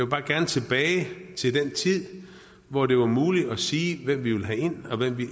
bare gerne tilbage til den tid hvor det var muligt at sige hvem vi vil have ind og hvem vi